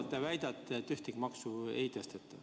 Te väidate, et ühtegi maksu ei tõsteta.